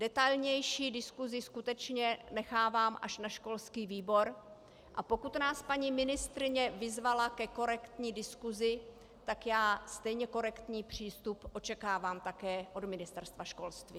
Detailnější diskusi skutečně nechávám až na školský výbor, a pokud nás paní ministryně vyzvala ke korektní diskusi, tak já stejně korektní přístup očekávám také od Ministerstva školství.